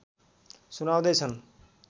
सुनाउँदै छन्